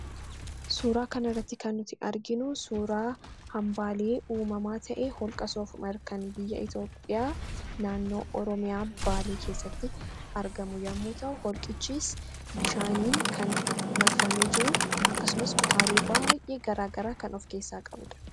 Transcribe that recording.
Suuraa kana irratti kan nuti arginu, suuraa hambaalee uumamaa ta'e holqa soofumar kan biyya Itoophiyaa naannoo oromiyaa baalee keessatti argamu yemmuu ta'u, holqichis bishaaniin kan marfame jiru akkasumas kutaalee baayyee garaagaraa kan of keessaa qabudha.